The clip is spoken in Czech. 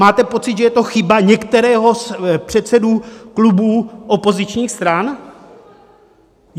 Máte pocit, že je to chyba některého z předsedů klubů opozičních stran?